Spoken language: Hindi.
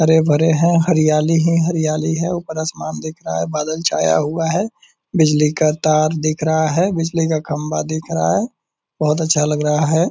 हरे भरे हैं हरयाली ही हरयाली हैं उपर आसमान दिख रहा हैं बादल छाया हुआ हैं बिजली का तार दिख रहा है बिजली का खंबा दिख रहा है बहुत अच्छा लग रहा है।